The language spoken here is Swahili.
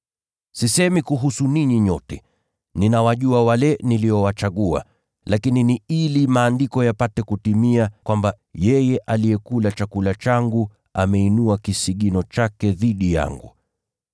“Sisemi hivi kuhusu ninyi nyote. Ninawajua wale niliowachagua. Lakini ni ili Andiko lipate kutimia, kwamba, ‘Yeye aliyekula chakula changu, ameinua kisigino chake dhidi yangu.’